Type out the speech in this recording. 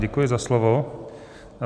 Děkuji za slovo.